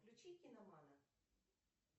включи киномана